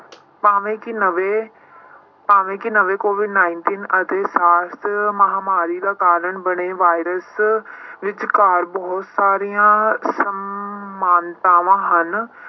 ਭਾਵੇਂ ਕਿ ਨਵੇਂ ਭਾਵੇਂ ਕਿ ਨਵੇਂ COVID nineteen ਅਤੇ SARS ਮਹਾਂਮਾਰੀ ਦਾ ਕਾਰਨ ਬਣੇ ਵਾਇਰਸ ਵਿੱਚਕਾਰ ਬਹੁਤ ਸਾਰੀਆਂ ਸਮਾਨਤਾਵਾਂ ਹਨ